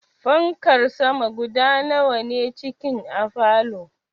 Fankar sama guda nawa ne cikin a falow?